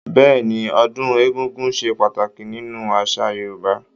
Bẹ́ẹ̀ni, ọdún egúngún ṣe pàtàkì nínú àṣà Yorúbá